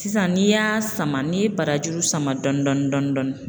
Sisan n'i y'a sama n'i ye barajuru sama dɔɔni dɔɔni.